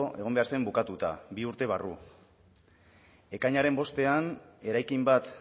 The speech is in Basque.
egon behar zen bukatuta bi urte barru ekainaren bostean eraikin bat